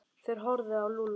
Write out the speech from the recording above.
Þeir horfðu á Lúlla.